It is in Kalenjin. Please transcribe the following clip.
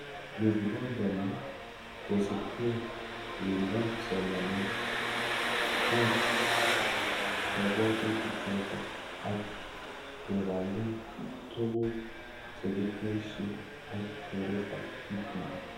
Yo kibangani kosubke uindoab somanet keet kabwatutik choto, ak kebangan tuguk chekitesyi ak keretab TPD